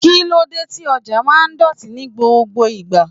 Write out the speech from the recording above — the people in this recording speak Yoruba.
Kí lóde tí ọjà máa ń dọ̀tí ní gbogbo ìgbà.